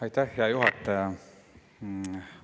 Aitäh, hea juhataja!